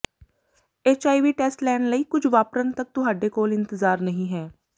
HIV test ਲੈਣ ਲਈ ਕੁਝ ਵਾਪਰਨ ਤੱਕ ਤੁਹਾਡੇ ਕੋਲ ਇੰਤਜ਼ਾਰ ਨਹੀਂ ਹੈ